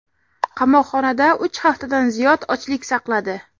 qamoqxonada uch haftadan ziyod ochlik saqladi.